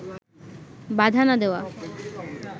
বাধা না দেওয়া